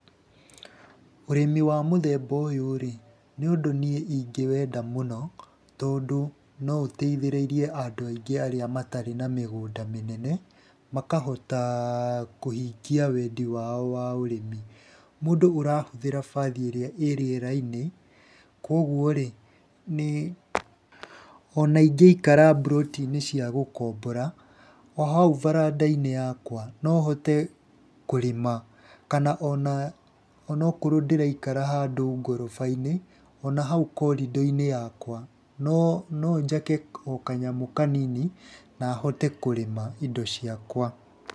Ũrĩmi wa mũthemba ũyũ rĩ, nĩ ũndũ niĩ ingĩwenda mũno, tondũ no ũteithĩrĩrie andũ aingĩ arĩa matarĩ na mĩgũnda mĩnene, makahota kũhingia wendi wao wa ũrĩmi. Mũndũ ũrahũthĩra baathi ĩrĩa ĩĩ rĩera-inĩ, koguo rĩ ona ingĩikara mburoti-inĩ cia gũkombora o hau baranda-inĩ yakwa no hote kũrĩma. Kana ona okorwo ndĩraikara handũ ngoroba-inĩ ona hau korĩndo-inĩ yakwa, no njake o kanyamũ kanini na hote kũrĩma indo ciakwa.